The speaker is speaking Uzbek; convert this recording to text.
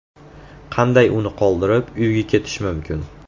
Qanday uni qoldirib, uyga ketish mumkin?